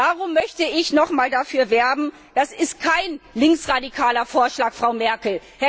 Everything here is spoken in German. Darum möchte ich nochmals dafür werben Das ist kein linksradikaler Vorschlag, Frau Merkel!